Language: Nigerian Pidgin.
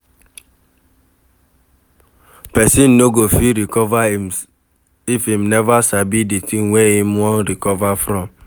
Person no go fit recover if im never sabi di thing wey im wan recover from